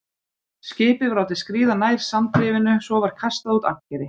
Skipið var látið skríða nær sandrifinu, svo var kastað út ankeri.